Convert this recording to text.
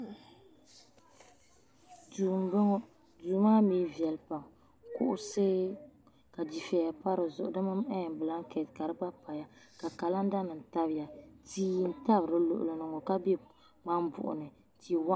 Duu m boŋɔ duu maa mee viɛli pam kuɣusi ka dufeya pa di zuɣu bilanketi ka di gba paya ka kalanda nima tabya tia n tabi di luɣuli ni ŋɔ ka be ŋmambuɣu ni ti waɣinli.